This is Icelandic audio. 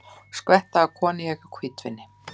Skvetta af koníaki og hvítvíni